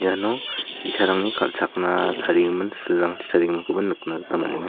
iano bi·sarangni kal·chakna tarigimin silrangchi tarigiminkoba nikna gita man·enga.